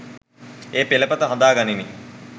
ඒ පෙළපත හදා ගනින්.